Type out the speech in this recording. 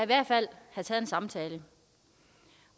hvert fald have taget en samtale